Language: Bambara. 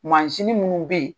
Mansini minnu be ye